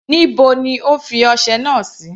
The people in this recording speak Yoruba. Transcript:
Níbo ni O fi ọsẹ náà sí.